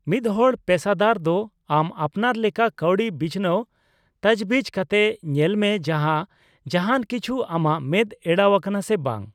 ᱢᱤᱫᱦᱚᱲ ᱯᱮᱥᱟᱫᱟᱨ ᱫᱚ ᱟᱢ ᱟᱯᱱᱟᱨ ᱞᱮᱠᱟ ᱠᱟᱹᱣᱰᱤ ᱵᱤᱪᱷᱱᱟᱹᱣ ᱛᱚᱡᱵᱤᱡ ᱠᱟᱛᱮ ᱧᱮᱞ ᱢᱮ ᱡᱟᱦᱟᱸ, ᱡᱟᱦᱟᱸᱱ ᱠᱤᱪᱷᱩ ᱟᱢᱟᱜ ᱢᱮᱫ ᱮᱲᱟᱣ ᱟᱠᱟᱱᱟ ᱥᱮ ᱵᱟᱝ ᱾